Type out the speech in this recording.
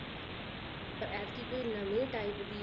ਪਰ ਐਤਕੀ ਕੋਈ ਨਵੇਂ type ਦੀ